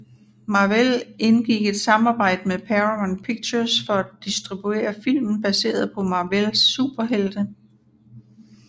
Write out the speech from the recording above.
Marvel indgik et samarbejde med Paramount Pictures for at distribuere film baseret på Marvels superhelte